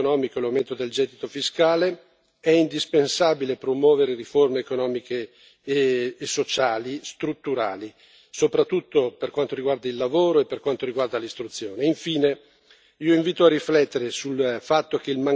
Inoltre, nonostante l'apprezzabile miglioramento economico e l'aumento del gettito fiscale, è indispensabile promuovere riforme economiche e sociali strutturali, soprattutto per quanto riguarda il lavoro e per quanto riguarda l'istruzione.